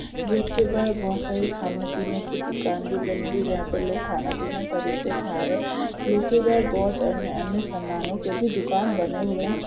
Gate के बाहर बहुत सारी खानेपीने की दुकान भी बनी हुई है यहा पर लोग खानापीना खरीदके खा रहे है। बाहर बहुत अन्य अन्य सामानोंके भी दुकान बने हुए हैं।